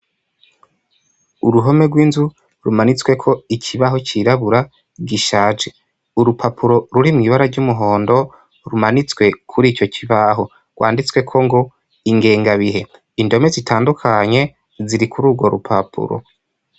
Uruhome rw'inzu rumanitswe ko ikibaho cyirabura gishaje. Urupapuro ruri mu ibara ry'umuhondo rumanitswe kuri icyo kibaho rwanditswe ko ngo ingengabihe. Indome zitandukanye ziri kuri urwo rupapuro.